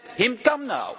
Let him come now.